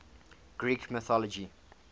greek mythology